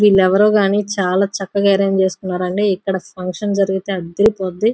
వెల్లెవేయారో కానీ చాల చక్కగా ఆరెంజ్ చేస్కున్నారండి ఇక్కడ ఫంక్షన్ జరిగితే అదిరిపోద్ది.